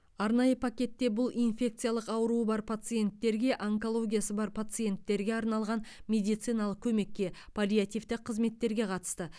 арнайы пакетте бұл инфекциялық ауруы бар пациенттерге онкологиясы бар пациенттерге арналған медициналық көмекке паллиативтік қызметтерге қатысты